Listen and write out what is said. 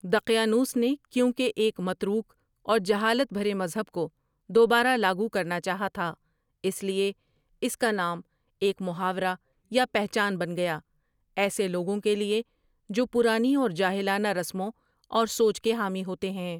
دقیانوس نے کیونکہ ایک متروک اور جہالت بھرے مذہب کو دوبارہ لاگو کرنا چاہا تھا اس لیے اس کا نام ایک محاورہ یا پہچان بن گیا ایسے لوگوں کے لیے کہ جو پرانی اور جاہلانہ رسموں اور سوچ کے حامی ہوتے ہیں۔